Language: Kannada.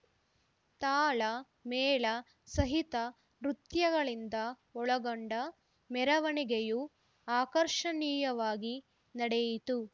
ತಾಳ ಮೇಳ ಸಹಿತ ನೃತ್ಯಗಳಿಂದ ಒಳಗೊಂಡ ಮೆರವಣಿಗೆಯು ಅಕರ್ಷಣೀಯವಾಗಿ ನಡೆಯಿತು